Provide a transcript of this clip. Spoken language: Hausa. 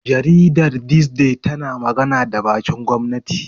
Jaridar Thisday tana magana da bakin gwamnati.